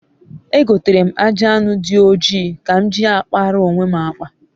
egotere m aji anu di oji ka m ji a kpaara onwe m akpa